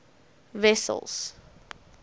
wessels